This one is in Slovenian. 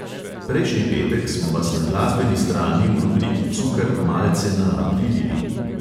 Prejšnji petek smo vas na glasbeni strani v rubriki cukr malce naaprilili.